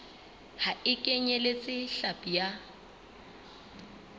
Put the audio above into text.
ha e kenyeletse hlapi ya